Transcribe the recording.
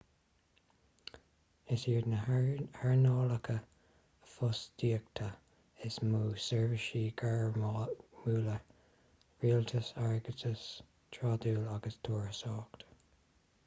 is iad na hearnálacha fostaíochta is mó seirbhísí gairmiúla rialtas airgeadas trádáil agus turasóireacht